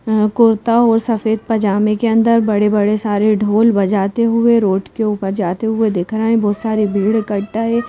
कुर्ता और सफेद पजामे के अंदर बड़े-बड़े सारे ढोल बजाते हुए रोड के ऊपर जाते हुए दिख रहे है बहुत सारे भीड़ इकट्ठा है।